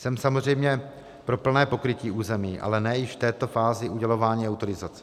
Jsem samozřejmě pro plné pokrytí území, ale ne již v této fázi udělování autorizace.